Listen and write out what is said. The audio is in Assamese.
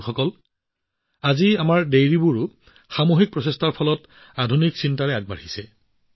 বন্ধুসকল সামূহিক প্ৰচেষ্টাৰে আজি আমাৰ ডেইৰীবোৰো আধুনিক চিন্তাধাৰাৰে আগবাঢ়িছে